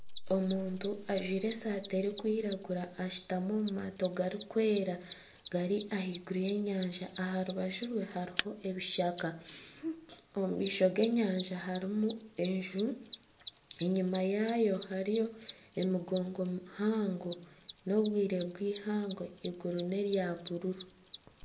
Omuntu ajwaire esaati erikwiragura ashutami omu maato garikwera gari ahaiguru y'enyanja aharubaju rwe hariho ebishaka omu maisho g'enyanja harimu enju enyuma yaayo hariyo emigongo mihango n'obwire bw'eihangwe iguru nerya buruuru.